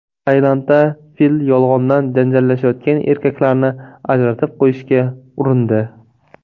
Tailandda fil yolg‘ondan janjallashayotgan erkaklarni ajratib qo‘yishga urindi .